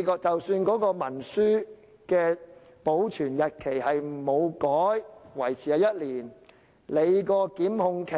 即使文書保存期限不變，維持在1年，檢控的